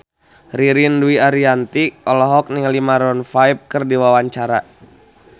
Ririn Dwi Ariyanti olohok ningali Maroon 5 keur diwawancara